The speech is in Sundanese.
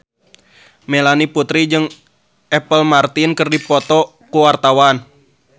Melanie Putri jeung Apple Martin keur dipoto ku wartawan